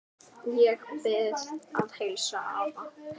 Ég bið að heilsa afa.